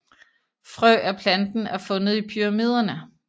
Frø af planten er fundet i pyramiderne